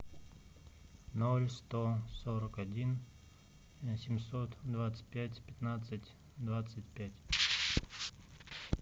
ноль сто сорок один восемьсот двадцать пять пятнадцать двадцать пять